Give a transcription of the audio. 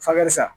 Fakɛsa